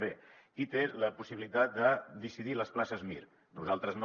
bé qui té la possibilitat de decidir les places mir nosaltres no